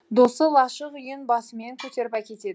досы лашық үйін басымен көтеріп әкетеді